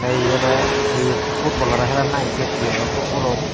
te ebey oley he footbol hara helan nahi siot aro hi footbolo.